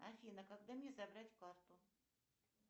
афина когда мне забрать карту